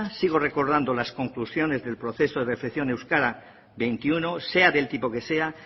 sigo recordando las conclusiones del proceso de euskara veintiuno sea del tipo de sea